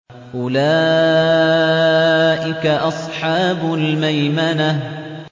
أُولَٰئِكَ أَصْحَابُ الْمَيْمَنَةِ